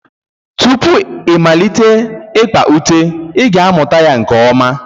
Tupu ịmalite ikpa ute ị ga-amụta ya nke ọma